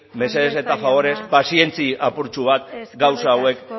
mesedez eta faborez pazientzia apurtxo bat gauza hauek